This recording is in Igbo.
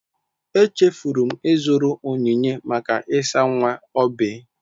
Echefuru m ịzụrụ onyinye maka ịsa nwa Oby.